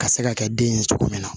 Ka se ka kɛ den ye cogo min na